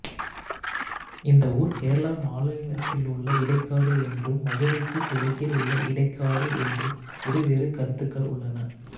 இந்த ஊர் கேரள மாநிலத்திலுள்ள இடைக்காடு என்றும் மதுரைக்குகுக் கிழக்கில் உள்ள இடைக்காடு என்றும் இருவேறு கருத்துக்கள் உள்ளன